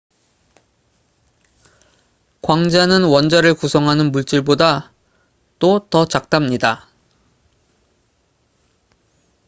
광자는 원자를 구성하는 물질보다도 더 작답니다